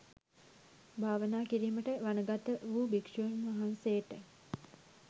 භාවනා කිරීමට වනගත වූ භික්‍ෂූන් වහන්සේට